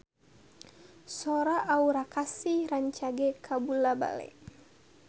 Sora Aura Kasih rancage kabula-bale